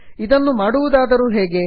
ಇದನ್ನು ಮಡುವುದಾದರೂ ಹೇಗೆ